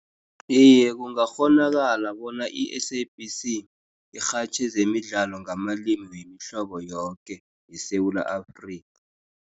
Iye, kungakghonakala bona i-S_A_B_C irhatjhe zemidlalo ngamalimi wemihlobo yoke yeSewula Afrika.